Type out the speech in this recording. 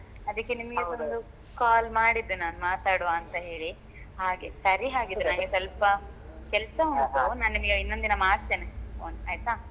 ಅದಿಕ್ಕೆ ನಿಮ್ಗೆಸ ಒಂದು call ಮಾಡಿದ್ದು ನಾನು ಮಾತಾಡ್ವ ಅಂತ ಹೇಳಿ ಹಾಗೆ ಸರಿ ಹಾಗಿದ್ರೆ ನಂಗೆ ಸ್ವಲ್ಪ ಕೆಲಸ ಉಂಟು ನಾನ್ ನಿಮಿಗೆ ಇನ್ನೊಂದ್ ದಿನ ಮಾಡ್ತೇನೆ phone ಆಯ್ತಾ.